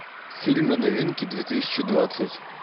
фильмы новинки две тысячи двадцать